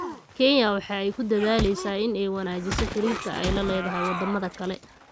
Kenya waxa ay ku dadaaleysaa in ay wanaajiso xiriirka ay la leedahay wadamada kale.